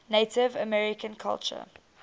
native american culture